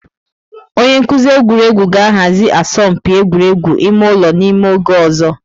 Onye nkuzi egwuregwu ga-ahazi asọmpi egwuregwu ime ụlọ n'ime oge ọzọ.